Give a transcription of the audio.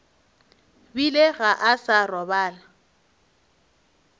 bile ga a sa robala